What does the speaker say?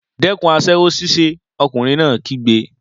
Dẹ́kun aṣẹ́wó ṣíṣe! Ọkùnrin náà kígbe.